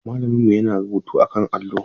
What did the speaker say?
Malaminmu yana rubutu akan allo.